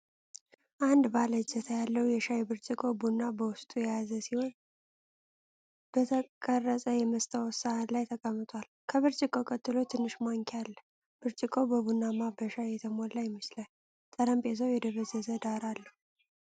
አንድ ባለ እጀታ ያለው የሻይ ብርጭቆ ቡና በውስጡ የያዘ ሲሆን፣ በተቀረጸ የመስታወት ሳህን ላይ ተቀምጧል። ከብርጭቆው ቀጥሎ ትንሽ ማንኪያ አለ። ብርጭቆው በቡናና በሻይ የተሞላ ይመስላል፣ ጠረጴዛው የደበዘዘ ዳራ አለው።